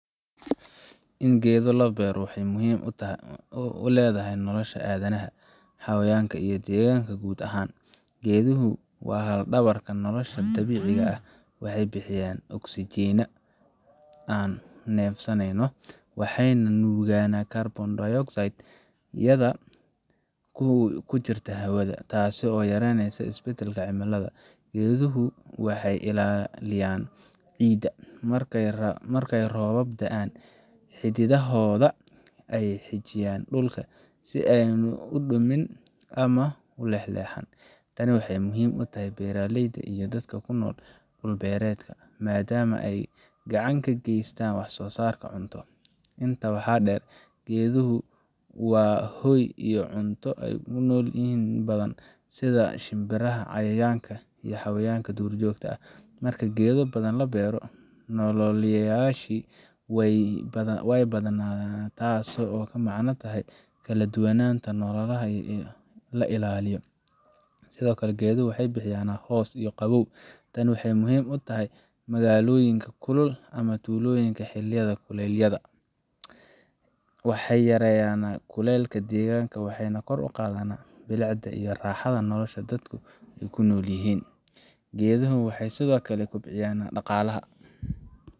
In geedo la beero waxay muhiimad u leedahay nolosha aadanaha, xayawaanka, iyo deegaanka guud ahaan. Geeduhu waa laf dhabarta nolosha dabiiciga ah waxay bixiyaan oxygen aan neefsaneyno, waxayna nuugaan carbon dioxide hawada ku jirta, taas oo yareyneysa isbeddelka cimilada. Geeduhu waxay ilaaliyaan ciidda markay roobab da’aan, xididdadooda ayaa xajinaya dhulka si aanu u dumin ama u leexleexan. Tani waxay muhiim u tahay beeraleyda iyo dadka ku nool dhul beereedka, maadaama ay gacan ka geysato wax soosaarka cunto. Intaa waxaa dheer, geeduhu waa hoy iyo cunto u ah nooleyaal badan sida shimbiraha, cayayaanka, iyo xayawaanka duurjoogta ah. Marka geedo badan la beero, nooleyaashaasi way badbaadaan, taasoo la macno ah in kala duwanaanta noolaha la ilaaliyo. Sidoo kale, geeduhu waxay bixiyaan hoos iyo qabow tani waxay muhiim u tahay magaalooyinka kulul ama tuulooyinka xilliyada kulaylaha. Waxay yareeyaan kuleylka deegaanka, waxayna kor u qaadaan bilicda iyo raaxada nolosha dadku ku noolyihiin. Geedaha waxay sidoo kale kobciyaan dhaqaalaha